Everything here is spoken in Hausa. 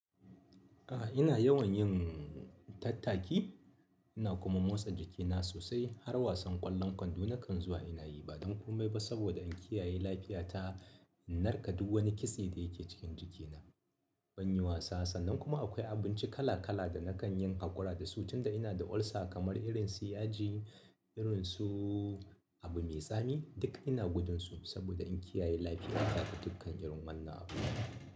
A ina yawan yin. Tattaki ina kuma motsa jikina sosai har wasan ƙwallon kwando na kan zuwa ina yi ba don komai ba saboda in kiyaye lafiyata in narka duk wani kitse da yake cikin jikina. Ban yi wasa sannan kuma akwai abinci kala-kala da na kan yin haƙura da su tunda ina da ulcer kamar irin su yaji. Irinsu abu mai tsami duk ina gudun su saboda in kiyaye lafiyata ga dukkan irin wannan abu.